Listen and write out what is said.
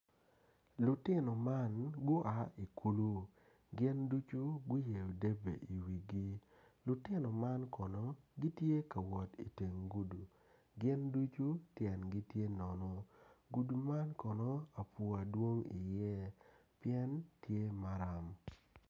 Lutinu ma gua i kulu gin ducu guyeyo deppe i wigi lutinu man kono gitye ka wot iteng gudu gin ducu tyengi tye nono gudu man kono abwa dwong i iye pien tye maram